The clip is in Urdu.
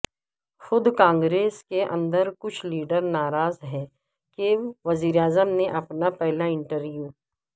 خود کانگریس کے اندر کچھ لیڈر ناراض ہیں کہ وزیراعظم نے اپنا پہلا انٹرویو